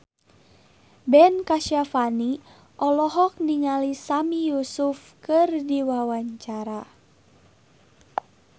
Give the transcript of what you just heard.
Ben Kasyafani olohok ningali Sami Yusuf keur diwawancara